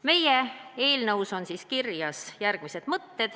Meie eelnõus on kirjas järgmised mõtted.